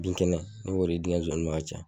Binkɛnɛ ne b'o de di n ka sonsaninw ma ka caya.